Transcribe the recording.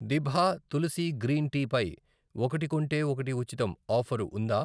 దిభా Tulsi green tea పై 'ఒకటి కొంటే ఒకటి ఉచితం' ఆఫరు ఉందా?